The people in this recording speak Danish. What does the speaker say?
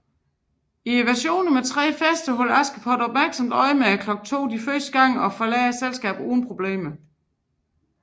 I versionerne med tre fester holder Askepot opmærksomt øje med klokken de to første gange og forlader selskabet uden problemer